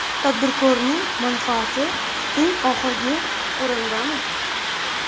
Tadbirkorning manfaati eng oxirgi o‘rindami?